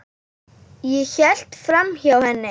Ég hélt framhjá henni.